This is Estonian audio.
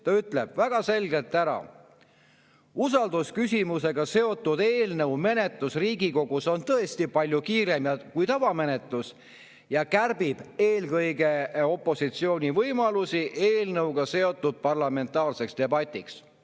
Ta ütleb väga selgelt ära: "Usaldusküsimusega seotud eelnõu menetlus Riigikogus on tõesti palju kiirem kui tavamenetlus ja kärbib eelkõige opositsiooni võimalusi eelnõuga seotud parlamentaarseks debatiks.